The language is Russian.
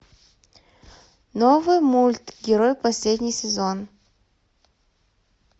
новый мульт герой последний сезон